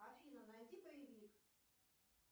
афина найди боевик